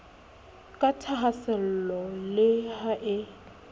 ka thahaasello le ha e